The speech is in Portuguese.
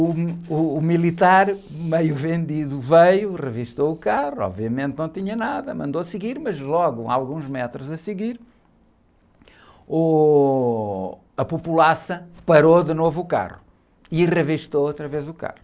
Uh, uh, o militar, meio vendido, veio, revistou o carro, obviamente não tinha nada, mandou seguir, mas logo, alguns metros a seguir, ôh, a populaça parou de novo o carro e revistou outra vez o carro.